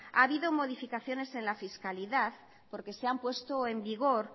ha habido modificaciones en la fiscalidad porque se han puesto en vigor